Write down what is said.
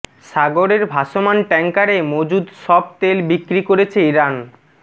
সাগরের ভাসমান ট্যাংকারে মজুদ সব তেল বিক্রি করেছে ইরান